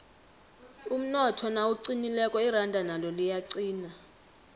umnotho nawuqinileko iranda nalo liyaqina